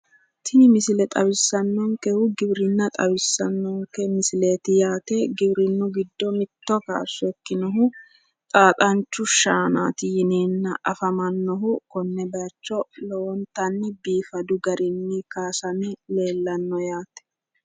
Tini misile xawissannonkehu giwirinna xawissannonke misileeti yaate giwirinnu giddo mitto kaashsho ikkinohu xaaxancho shaanaati yaate. xaaxanchu shaanaati yineenna afamannohu lowontanni konne baayiicho kaasame leellanno yaate.